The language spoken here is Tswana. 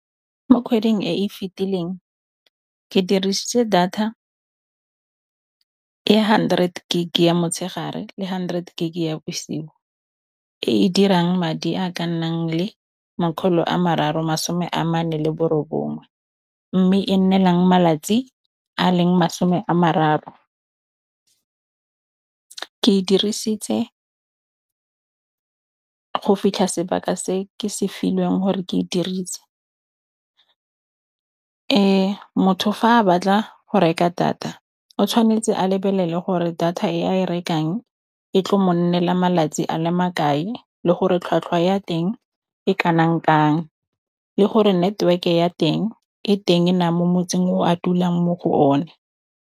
Mo kgweding e e fetileng ke dirisitse data e hundred gig-e ya motshegare le hundred gig-e ya bosigo, e e dirang madi a ka nnang le makgolo a mararo masome a mane le bo robongwe mme e nnelang malatsi a leng masome a mararo. Ke e dirisitse go fitlha sebaka se ke se filweng gore ke e dirise. Ee, motho fa a batla go reka data o tshwanetse a lebelele gore data e a e rekang e tlo mo nnela malatsi a le makae le gore tlhwatlhwa ya teng e kanang kang le gore network ya teng e teng na mo motseng o a dulang mo go o ne.